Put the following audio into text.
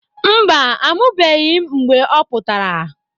Mba, amụbeghị m ihe mgbe ọ pụtara.